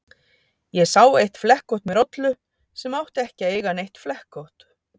Ég sá eitt flekkótt með rollu sem átti ekki að eiga neitt flekkótt.